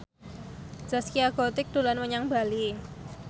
Zaskia Gotik dolan menyang Bali